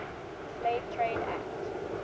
slave trade act